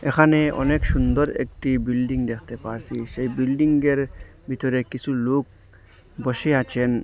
এখানে অনেক সুন্দর একটি বিল্ডিং দেখতে পারছি সেই বিল্ডিংয়ের ভিতরে কিছু লোক বসে আছেন।